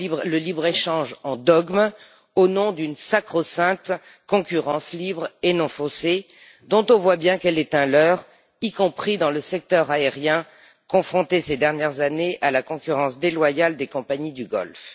le libre échange en dogme au nom d'une sacro sainte concurrence libre et non faussée, dont on voit bien qu'elle est un leurre, y compris dans le secteur aérien confronté, ces dernières années, à la concurrence déloyale des compagnies du Golfe.